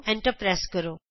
enter ਦਬਾਉ